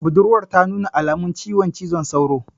Budurwan ta nuna alamun ciwon cizon sauro